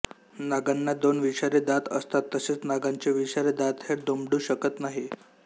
नागांना दोन विषारी दात असतात तसेच नागांचे विषारी दात हे दुमडू शकत नाहीत